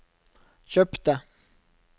kjøpte